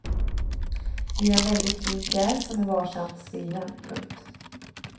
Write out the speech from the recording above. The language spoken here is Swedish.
Det är en väldigt fin pjäs som är varsamt skriven. punkt